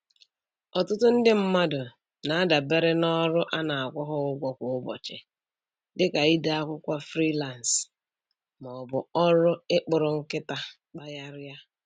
Ọtụtụ ndị mmadụ na-adabere n'ọrụ ana-akwụ ha ụgwọ kwa ụbọchị, dị ka ide akwụkwọ frilansị ma ọ bụ ọrụ ị kpụrụ nkịta kpagharị a.